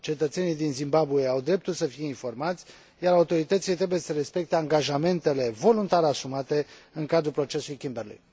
Cetățenii din Zimbabwe au dreptul să fie informați, iar autoritățile trebuie să respecte angajamentele voluntar asumate în cadrul Procesului Kimberley.